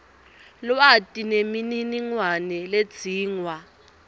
lwati nemininingwane ledzingwa